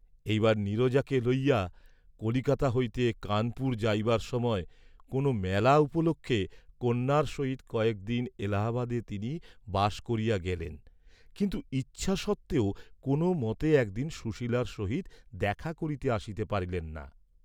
এইবার নীরজাকে লইয়া কলিকাতা হইতে কানপুর যাইবার সময় কোন মেলা উপলক্ষে কন্যার সহিত কয়েক দিন এলাহাবাদে তিনি বাস করিয়া গেলেন কিন্তু ইচ্ছা সত্ত্বেও কোন মতে একদিন সুশীলার সহিত দেখা করতে আসিতে পারিলেন না।